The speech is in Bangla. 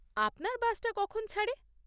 আপনার বাসটা কখন ছাড়ে?